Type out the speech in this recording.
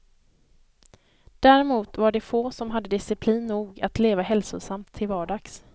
Däremot var det få som hade disciplin nog att leva hälsosamt till vardags.